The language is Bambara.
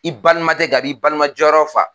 I balima dɛ ga di i balima jɔyɔrɔ fa.